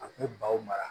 A k'u baw mara